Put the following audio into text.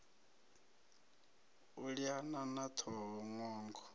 u liana na ṱhoho ṅwongo